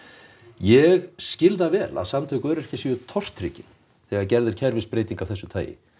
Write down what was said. ég skil það vel að samtök öryrkja séu tortryggin þegar gerð er kerfisbreyting af þessu tagi